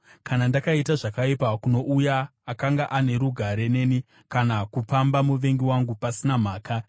kana ndakaita zvakaipa kuno uya akanga ane rugare neni kana kupamba muvengi wangu pasina mhaka,